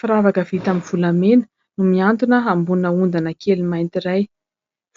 Firavaka vita amin'ny volamena no mihantona ambonina ondana kely mainty iray.